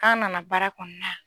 K'an nana baara kɔnɔna na.